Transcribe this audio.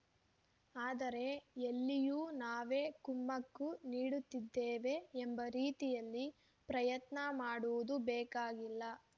ಆದರೆ ಎಲ್ಲಿಯೂ ನಾವೇ ಕುಮ್ಮಕ್ಕು ನೀಡುತ್ತಿದ್ದೇವೆ ಎಂಬ ರೀತಿಯಲ್ಲಿ ಪ್ರಯತ್ನ ಮಾಡುವುದು ಬೇಕಾಗಿಲ್ಲ